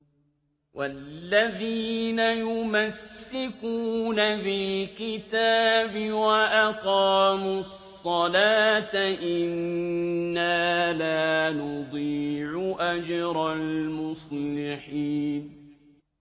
وَالَّذِينَ يُمَسِّكُونَ بِالْكِتَابِ وَأَقَامُوا الصَّلَاةَ إِنَّا لَا نُضِيعُ أَجْرَ الْمُصْلِحِينَ